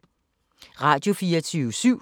Radio24syv